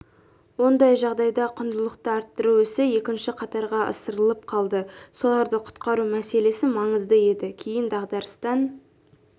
ондай жағдайда құндылықты арттыру ісі екінші қатарға ысырылып қалды соларды құтқару мәселесі маңызды еді кейін дағдарыстан